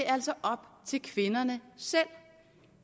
altså op til kvinderne selv